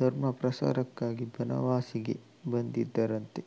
ಧರ್ಮಪ್ರಸಾರಕ್ಕಾಗಿ ಬನವಾಸಿಗೆ ಬಂದಿದ್ದರಂತೆ